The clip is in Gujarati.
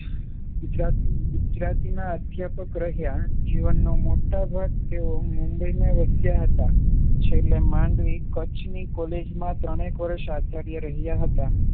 ગુજરાતીના અધ્યાપક રહ્યા જીવનો મોટો ભાગ તેઓએ મુંબઈમાં વસ્યા હતા છેલ્લે માંડવીની કોલેજ માં છેલ્લે માંડવી કચ્છની કૉલેજમાં ત્રણેક વર્ષ આચાર્ય રહ્યા હતા.